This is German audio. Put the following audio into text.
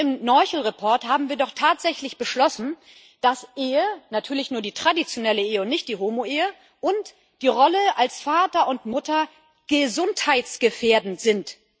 Und im Bericht Noichl haben wir doch tatsächlich beschlossen, dass Ehe natürlich nur die traditionelle Ehe und nicht die Homoehe und die Rolle als Vater und Mutter gesundheitsgefährdend sind.